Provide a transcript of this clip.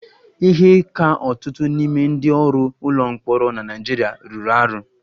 Ihe ka ọtụtụ n'ime ndị ọrụ ụlọ mkpọrọ na Naịjirịa rụrụ arụ